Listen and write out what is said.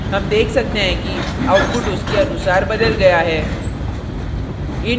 हम देख सकते हैं कि output उसके अनुसार बदल गया है